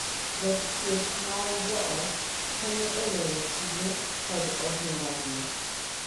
Jathieth mar joot konyo e lero tije kod ohinga gi,